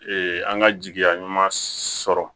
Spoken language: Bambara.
an ka jigiya ɲuman sɔrɔ